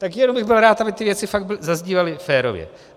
Tak jen bych byl rád, aby ty věci fakt zaznívaly férově.